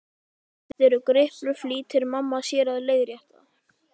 Þetta eru griplur, flýtir mamma sér að leiðrétta.